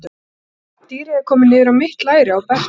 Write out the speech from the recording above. Og sjá, dýrið er komið niður á mitt læri á Berta.